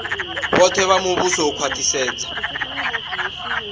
vhoṱhe vha muvhuso u khwaṱhisedza